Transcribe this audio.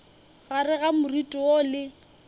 gare ga moriti woo le